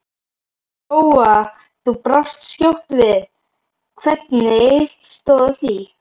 Lóa: Þú brást skjótt við, hvernig stóð á því?